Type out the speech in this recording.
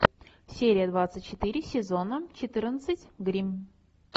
серия двадцать четыре сезона четырнадцать гримм